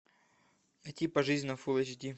найти пожизненно фулл эйч ди